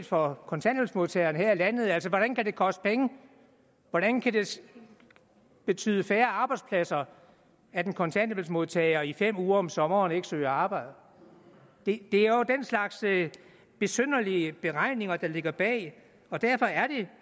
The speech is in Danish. for kontanthjælpsmodtagerne her i landet altså hvordan kan det koste penge hvordan kan det betyde færre arbejdspladser at en kontanthjælpsmodtager i fem uger om sommeren ikke søger arbejde det er jo den slags besynderlige beregninger der ligger bag og derfor er det